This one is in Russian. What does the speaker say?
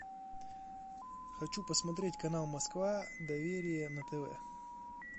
хочу посмотреть канал москва доверие на тв